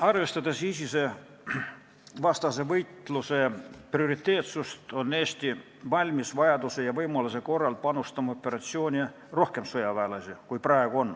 Arvestades ISIS-e vastase võitluse prioriteetsust, on Eesti valmis vajaduse ja võimaluse korral panustama operatsiooni praegusest rohkemate sõjaväelastega.